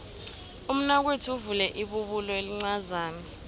umnakwethu uvule ibubulo elincazana